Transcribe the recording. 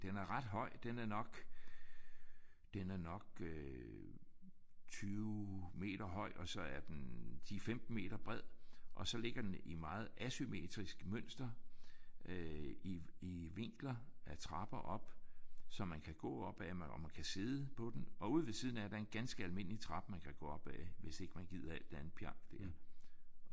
Den er ret høj. Den er nok den er nok øh 20 meter høj og så er den 10 15 meter bred og så ligger den i meget asymmetrisk mønster øh i i vinkler af trapper op. Så man kan gå op ad og sidde på den. Og ude ved siden af er der en ganske almindelig trappe man kan gå op ad hvis man ikke gider al det pjank der